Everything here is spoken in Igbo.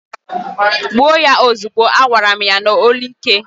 "Gbuo ya ozugbo!" agwara m ya n'olu ike.